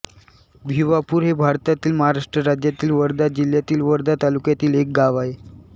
भिवापूर हे भारतातील महाराष्ट्र राज्यातील वर्धा जिल्ह्यातील वर्धा तालुक्यातील एक गाव आहे